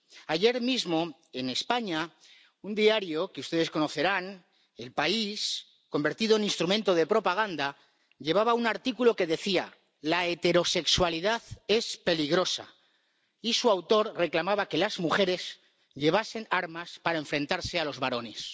Ayer mismo, en España, un diario que ustedes conocerán El País convertido en instrumento de propaganda, llevaba un artículo que decía la heterosexualidad es peligrosa y su autor reclamaba que las mujeres llevasen armas para enfrentarse a los varones.